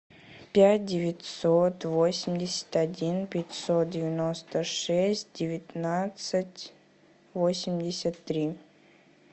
пять девятьсот восемьдесят один пятьсот девяносто шесть девятнадцать восемьдесят три